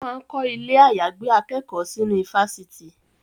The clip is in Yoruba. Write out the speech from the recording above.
Wọ́n máa ń kọ́ ilẹ̀ àyàgbé akẹ́kọ̀ọ́ sínú ifásitì